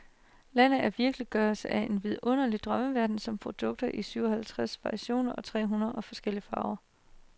Landet er virkeliggørelsen af en vidunderlig drømmeverden med produkter i syvoghalvtreds variationer og tre hundrede forskellige farver.